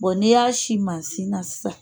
n'e y'a sin mansin na sisan.